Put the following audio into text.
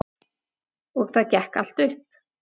Og það gekk allt upp.